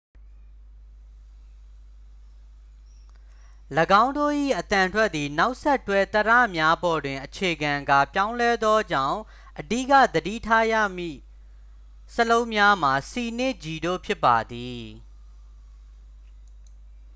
၎င်းတို့၏အသံထွက်သည် နောက်ဆက်တွဲ သရများပေါ်တွင် အခြေခံကာ ပြောင်းလဲသောကြောင့် အဓိက သတိထားရမည့် စာလုံးများမှာ c နှင့် g တို့ဖြစ်ပါသည်